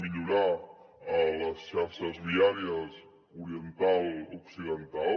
millorarem les xarxes viàries oriental occidental